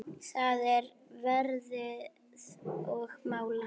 það er verið að mála.